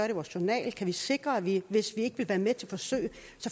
i vores journal kan vi sikre at vi hvis vi ikke vil være med til forsøg